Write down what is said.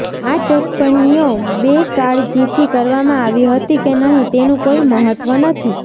આ ટીપ્પણીઓ બેકાળજીથી કરવામાં આવી હતી કે નહીં તેનું કોઈ મહત્ત્વ નથી